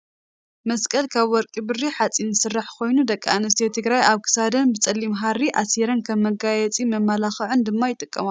መስቀል ካብ ወርቂ ብሪ ሓፂን ዝስራሕ ኮይኑ ደቂ ኣንስትዮ ትግራይ ኣብ ክሳደን ብፀሊም ሃሪ ኣሲረን ከም መጋየፂን መመላክዕን ድማ ይጥቀማሉ።